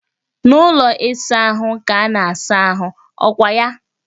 N'ụlọ ịsa ahụ ka a na asa ahụ, ọ kwa ya?